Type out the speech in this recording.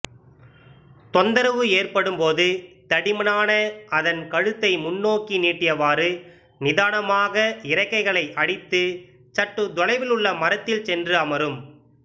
தொந்தரவு ஏற்படும்போது தடிமனான அதன் கழுத்தை முன்னோக்கி நீட்டியவாறு நிதானமாக இறக்கைகளை அடித்து சற்று தொலைவிலுள்ள மரத்தில் சென்று அமரும்